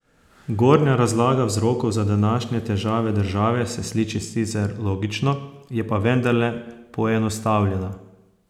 Gornja razlaga vzrokov za današnje težave države se sliši sicer logično, je pa vendarle poenostavljena.